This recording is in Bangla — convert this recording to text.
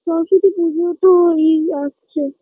সরস্বতী পুজোও তো এই আসছে